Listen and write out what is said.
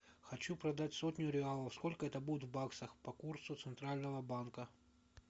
хочу продать сотню реалов сколько это будет в баксах по курсу центрального банка